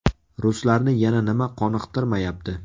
Ruslarni yana nima qoniqtirmayapti?